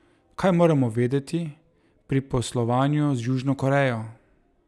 Kaj moramo vedeti pri poslovanju z Južno Korejo?